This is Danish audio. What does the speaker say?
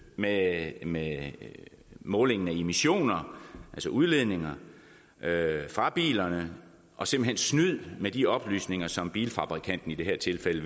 med med målingen af emissioner altså udledninger fra bilerne og simpelt hen snyd med de oplysninger som bilfabrikanten i det her tilfælde